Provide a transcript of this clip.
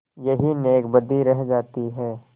यही नेकबदी रह जाती है